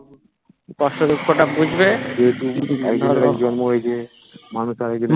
কষ্ট দুঃখ তা বুঝবে